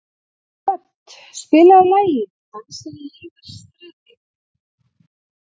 Hödd, spilaðu lagið „Dansinn lifir stritið“.